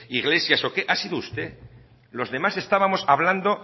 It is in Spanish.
iglesias o qué ha sido usted los demás estábamos hablando